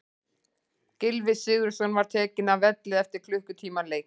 Gylfi Sigurðsson var tekinn af velli eftir klukkutíma leik.